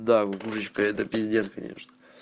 да выручка это пиздец конечно